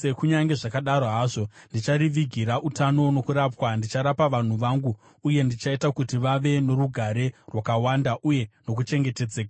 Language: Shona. “ ‘Kunyange zvakadaro hazvo, ndicharivigira utano nokurapwa; ndicharapa vanhu vangu uye ndichaita kuti vave norugare rwakawanda uye nokuchengetedzeka.